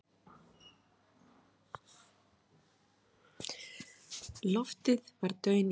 Loftið var daunillt.